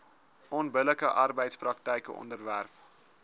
onbillike arbeidspraktyke onderwerp